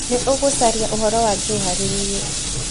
Nĩ ũgũcaria ũhoro wa Joe harĩ niĩ